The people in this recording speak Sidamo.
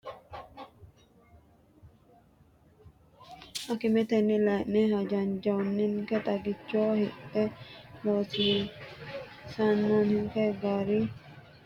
Akimetenni layi’ne hajanjanninke xagicho hidha hasiissannonke gari dargi giddo sase xawisse Akimetenni layi’ne hajanjanninke xagicho hidha hasiissannonke gari dargi giddo.